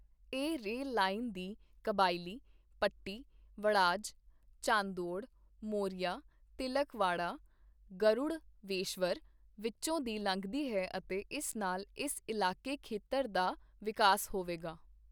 ਇਹ rail line ਦੀ ਕਬਾਇਲੀ, ਪੱਟੀ, ਵੜਾਜ, ਚਾਂਦੌੜ, ਮੋਰੀਆ, ਤਿਲਕਵਾੜਾ, ਗਰੁੜਵੇਸ਼ਵਰ ਵਿੱਚੋਂ ਦੀ ਲੰਘਦੀ ਹੈ ਅਤੇ ਇਸ ਨਾਲ ਇਸ ਇਲਾਕੇ ਖੇਤਰ ਦਾ ਵਿਕਾਸ ਹੋਵੇਗਾ।